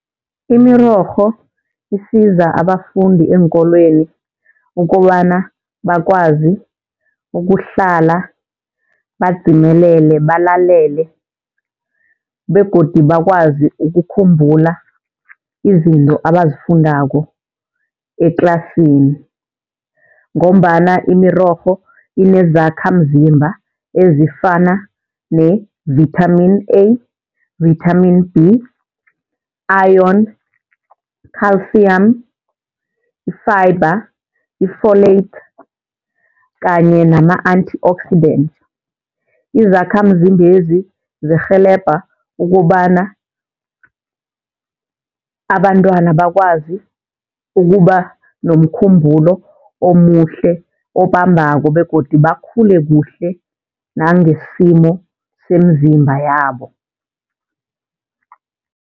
Imirorho isiza abafundi eenkolweni ukobana bakwazi ukuhlala badzimelele, balalele begodu bakwazi ukukhumbula izinto abazifundako etlasini. Ngombana imirorho inezakhamzimba ezifana ne-vitamin A, vitamin B, iron, culcium, i-fibre, i-folate kanye nama-antioxidant. Izakhamzimbezi zirhelebha ukobana abantwana bakwazi ukuba nomkhumbulo omuhle, obambako begodu bakhule kuhle nangesimo semzimba yabo.